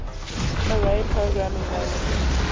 array programming languages